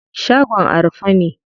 Shagon a rufe ne.